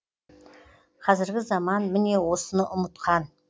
қазіргі заман міне осыны ұмытқан